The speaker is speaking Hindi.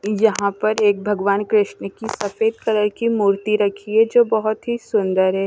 यहां पर एक भगवान कृष्ण की सफेद कलर की मूर्ति रखी है जो बहुत ही सुंदर है।